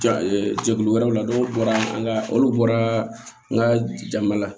Ja jɛkulu wɛrɛw la n'o bɔra an ka olu bɔra an ka jama la